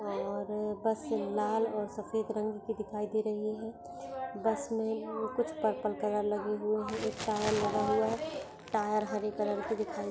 और बस लाल और सफ़ेद रंग की दिखाई दे रही है। बस मे और कुछ पर्पल कलर लगे हुए है। एक टायर लगा हुआ है। टायर हरे कलर की दिख-- .